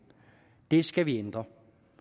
det skal vi ændre